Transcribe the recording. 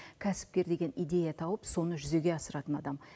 кәсіпкер деген идея тауып соны жүзеге асыратын адам